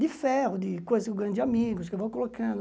De ferro, de coisas que eu ganho de amigos, que eu vou colocando.